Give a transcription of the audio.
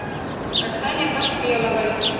оксане поспеловой